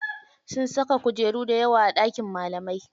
Sun saka kujeru dayawa a ɗakin malamai.